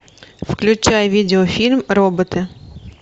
включай видеофильм роботы